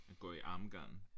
At gå i armgang